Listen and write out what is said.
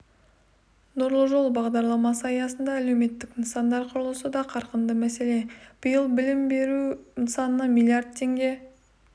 нұрлы жол бағдарламасы аясында әлеуметтік нысандар құрылысы да қарқынды мәселен биыл білім беру нысанына миллиард теңге